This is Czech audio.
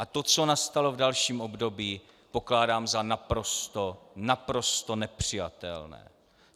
A to, co nastalo v dalším období, pokládám za naprosto, naprosto nepřijatelné.